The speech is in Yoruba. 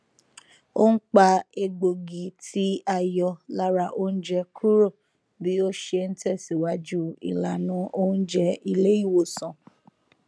ó n pa egbògi tí a yọ lára oúnjẹ kúrò bí ó ṣe n tẹsìwájú ìlànà oùnjẹ ilé ìwòsàn